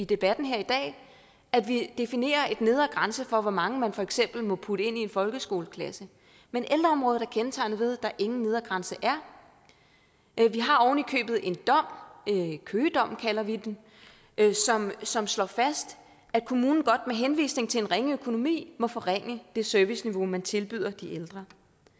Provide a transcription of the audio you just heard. debatten her i dag at vi definerer en nedre grænse for hvor mange man for eksempel må putte ind i en folkeskoleklasse men ældreområdet er kendetegnet ved at der ingen nedre grænse er vi har oven i købet en dom køgedommen kalder vi den som slår fast at kommunen godt med henvisning til en ringe økonomi må forringe det serviceniveau man tilbyder de ældre